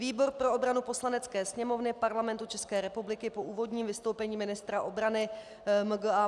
Výbor pro obranu Poslanecké sněmovny Parlamentu České republiky po úvodním vystoupení ministra obrany MgA.